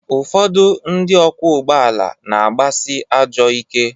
Ụfọdụ ndị ọkwọ ụgbọ ala na-agbasị ajọọ ike.